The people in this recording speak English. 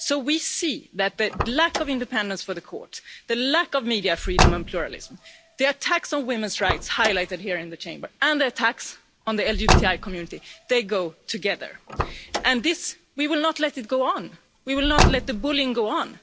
So we can see that the lack of independence for the courts, the lack of media freedom and pluralism, the attacks on women's rights highlighted here in the Chamber and the attacks on the LGBTI community go together. We will not let this go on. We will not let the bullying go on.